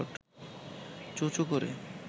চোঁ-চোঁ করে